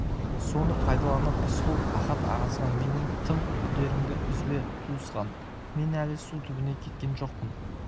соны пайдаланып рысқұл ахат ағасына менен тым күдеріңді үзбе туысқан мен әлі су түбіне кеткен жоқпын